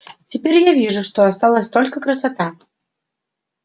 теперь я вижу что осталась только красота